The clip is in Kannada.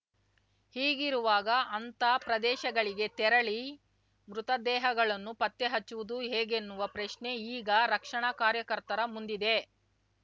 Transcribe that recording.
ಹೀಗಿರುವಾಗ ಅಂಥ ಪ್ರದೇಶಗಳಿಗೆ ತೆರಳಿ ಮೃತದೇಹಗಳನ್ನು ಪತ್ತೆಹಚ್ಚುವುದು ಹೇಗೆನ್ನುವ ಪ್ರಶ್ನೆ ಈಗ ರಕ್ಷಣಾ ಕಾರ್ಯಕರ್ತರ ಮುಂದಿದೆ